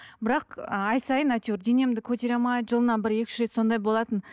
бірақ ай сайын әйтеуір денемді көтере алмай жылына бір екі үш рет сондай болатын